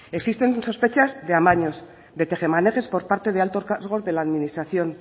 existen sospechas de amaños de tejemanejes por parte de altos cargos de la administración